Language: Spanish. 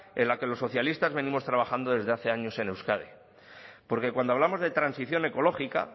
en la que los socialistas venimos trabajando desde hace años en euskadi porque cuando hablamos de transición ecológica